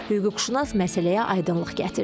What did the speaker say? Hüquqşünas məsələyə aydınlıq gətirdi.